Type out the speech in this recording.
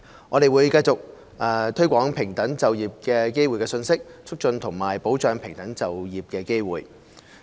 我們會繼續推廣平等就業機會的信息，促進和保障平等就業機會。